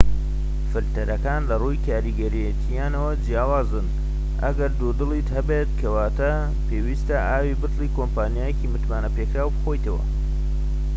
فلتەرەکان لەڕووی کاریگەرێتیانەوە جیاوازن ئەگەر دوودڵیت هەبێت کەواتە پێویستە ئاوی بتڵی کۆمپانیایەکی متمانەپێکراو بخۆیتەوە